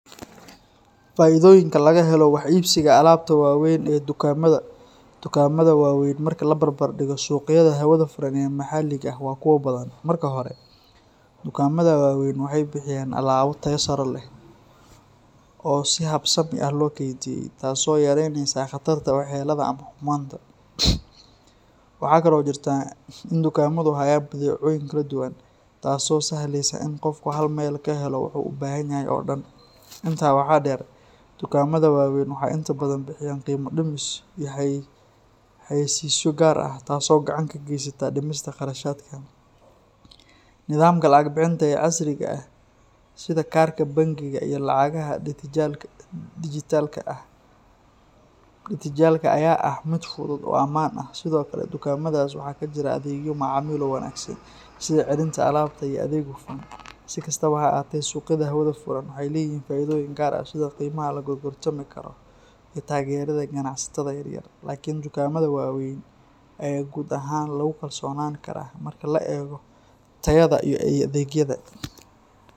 Faa’iidooyinka laga helo wax iibsiga alaabta waaweyn ee dukaamada waa weyn marka la barbardhigo suuqyada hawada furan ee maxaliga ah waa kuwo badan. Marka hore, dukaamada waa weyn waxay bixiyaan alaabo tayo sare leh oo si habsami ah loo keydiyey, taas oo yareynaysa khatarta waxyeellada ama xumaanta. Waxaa kale oo jirta in dukaamadu hayaan badeecooyin kala duwan, taas oo sahlaysa in qofku hal meel ka helo waxa uu u baahan yahay oo dhan. Intaa waxaa dheer, dukaamada waaweyn waxay inta badan bixiyaan qiimo dhimis iyo xayeysiisyo gaar ah, taas oo gacan ka geysata dhimista kharashaadka. Nidaamka lacag bixinta ee casriga ah sida kaarka bangiga iyo lacagaha dijitaalka ah ayaa ah mid fudud oo ammaan ah. Sidoo kale, dukaamadaas waxaa ka jira adeegyo macaamiil oo wanaagsan, sida celinta alaabta iyo adeeg hufan. Si kastaba ha ahaatee, suuqyada hawada furan waxay leeyihiin faa’iidooyin gaar ah sida qiimaha la gorgortami karo iyo taageerida ganacsatada yaryar, laakiin dukaamada waa weyn ayaa guud ahaan lagu kalsoonaan karaa marka la eego tayada iyo adeegyada.